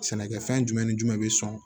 Sɛnɛkɛfɛn jumɛn ni jumɛn bɛ sɔn